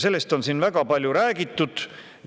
Sellest on siin väga palju räägitud.